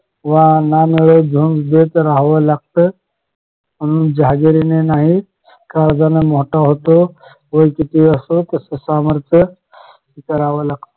wow मिळो न मिळो घेत राहावं लागत म्हणून जहागिरीने नाही काळजाने मोठे होतो वय कितीही असो तस सामर्थ्य करावं लागत